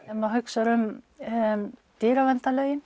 ef maður hugsar um